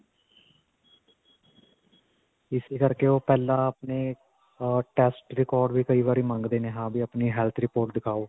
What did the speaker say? ਇਸੀ ਕਰਕੇ ਓਹ ਪਹਿਲਾਂ ਆਪਣੇ ਅਅ test record ਵੀ ਕਈ ਵਾਰੀ ਮੰਗਦੇ ਨੇ ਹਾਂ ਬਈ ਅਪਣੀ health report ਦਿਖਾਓ.